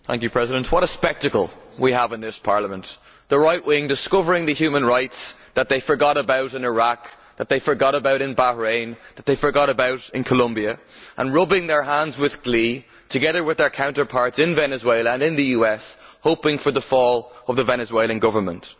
MrPresident, what a spectacle we have in this Parliament the rightwing discovering the human rights that they forgot about in Iraq, that they forgot about in Bahrain, that they forgot about in Colombia, and rubbing their hands in glee, together with their counterparts in Venezuela and in the US, hoping for the fall of the Venezuelan Government!